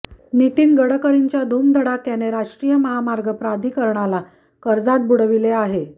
नितीन गडकरींच्या धुमधडाक्याने राष्ट्रीय महामार्ग प्राधिकरणाला कर्जात बुडविले आहे